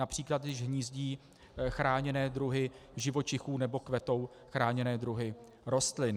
Například když hnízdí chráněné druhy živočichů nebo kvetou chráněné druhy rostlin.